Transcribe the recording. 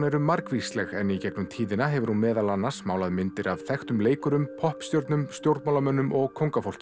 eru margvísleg en í gegnum tíðina hefur hún meðal annars málað myndir af þekktum leikurum poppstjörnum stjórnmálamönnum og